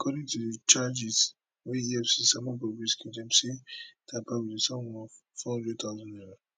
according to di charges wey efcc sama bobrisky dem say im tamper wit di sum of four hundred thousand naira